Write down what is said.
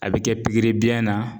A bɛ kɛ pikiri biyɛn na